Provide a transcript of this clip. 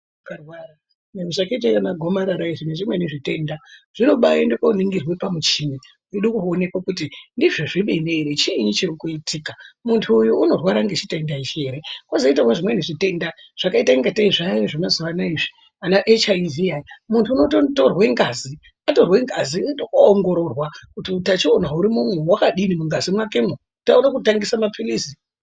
Zvakaita anagomarara izvi nezvimwe zvitenda zvinobaende koningirwe pamuchini weidekuonekwa kuti ndizvo zvemene ere chiini chiri kuitika muntu uyu unorwara ngechitenda ichi here kozoitawo zvimweni zvitenda zvakaita ngate zviyani zvemazuvanaya izvi ana "HIV" aya muntu unotonotorwe ngazi atorwe ngazi oendekoongororwa kuti utachiwona hurimo umu hwakadini mungazi mwake mwo kuti aone kutangisa mapilizi.